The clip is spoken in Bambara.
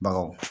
Bagaw